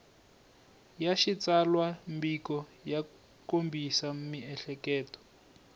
ya xitsalwambiko ya kombisa miehleketo